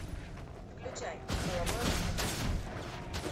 включай половое воспитание